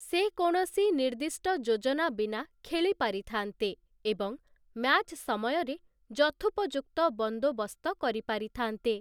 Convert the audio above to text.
ସେ କୌଣସି ନିର୍ଦ୍ଦିଷ୍ଟ ଯୋଜନା ବିନା ଖେଳି ପାରିଥାନ୍ତେ ଏବଂ ମ୍ୟାଚ୍ ସମୟରେ ଯଥୋପଯୁକ୍ତ ବନ୍ଦୋବସ୍ତ କରିପାରିଥାନ୍ତେ ।